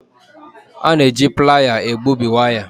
A na-eji Playa egbubi waya.